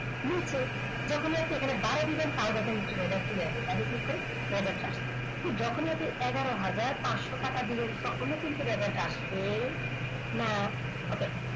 নিচে যখনই আপনি বারো দেবেন তাও দেখুন এখানে চলে আসবে বাইরে click করুন যখন আপনি এগারোহাজার পাঁচশ টাকা দেবেন তখনও কিন্তু radar টা আসবে না ওকে